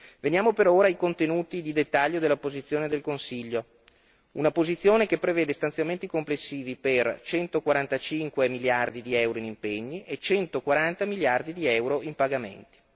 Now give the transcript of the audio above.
Veniamo però ora ai contenuti di dettaglio della posizione del Consiglio, una posizione che prevede stanziamenti complessivi per centoquaranta cinque miliardi di euro in impegni e centoquaranta miliardi di euro in pagamenti.